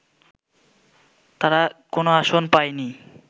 তারা কোন আসন পায়নি